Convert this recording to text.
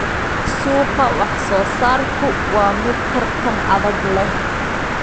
Suuqa wax-soo-saarku waa mid tartan adag leh.